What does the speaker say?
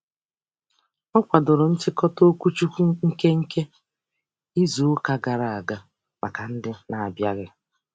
Ọ kwadoro nchịkọta okwuchukwu nke nke izuụka gara aga maka ndị n'abịaghị.